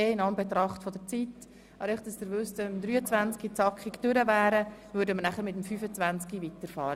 Dies gilt nur für den Fall, dass wir das Traktandum 23 zügig behandeln würden.